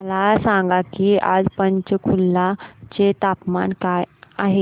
मला सांगा की आज पंचकुला चे तापमान काय आहे